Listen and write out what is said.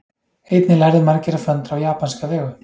Einnig lærðu margir að föndra á japanska vegu.